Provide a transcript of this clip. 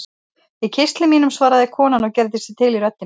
Í kistli mínum, svaraði konan og gerði sig til í röddinni.